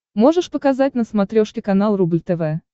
можешь показать на смотрешке канал рубль тв